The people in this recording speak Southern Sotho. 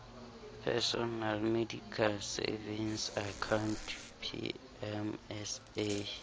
personal medical savings account pmsa